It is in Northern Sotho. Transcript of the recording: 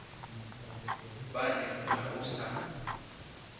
ba re ga o sa